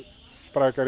sprækara